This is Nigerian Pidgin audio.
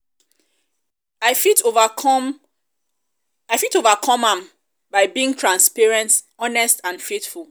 i fit overcome i fit overcome am by um being transparent honest and faithful.